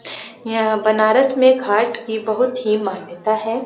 यह बनारस मे घाट की बहुत ही मान्यता है।